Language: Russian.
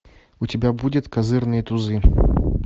у тебя будет козырные тузы